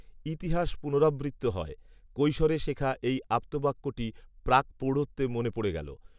ইতিহাস পুনরাবৃত্ত হয়, কৈশোরে শেখা এই আপ্তবাক্যটি প্রাকপ্রৌঢ়ত্বে মনে পড়ে গেল।